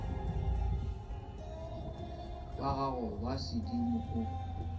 ba gago ba sedimo o